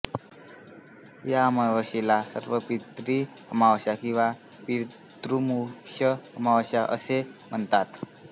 या अमावास्येला सर्वपित्री अमावस्या किंवा पितृमोक्ष अमावस्या असेही म्हणतात